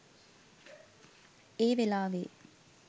ඒ වෙලාවේ